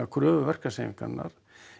kröfu verkalýðshreyfingarinnar